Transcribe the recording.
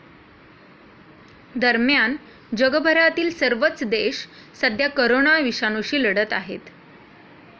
दरम्यान, जगभरातील सर्वच देश सध्या करोना विषाणूशी लढत आहेत.